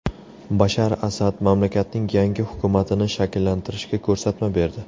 Bashar Asad mamlakatning yangi hukumatini shakllantirishga ko‘rsatma berdi.